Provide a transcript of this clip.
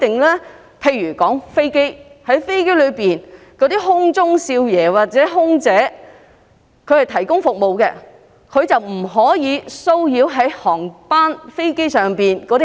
我以飛機的情況為例。空中少爺或空中小姐在飛機上是服務提供者，他們不可騷擾飛機上的乘客。